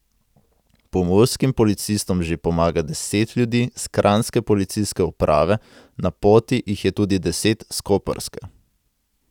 Pomurskim policistom že pomaga deset ljudi s kranjske policijske uprave, na poti jih je tudi deset s koprske.